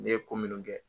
Ne ye ko minnu kɛ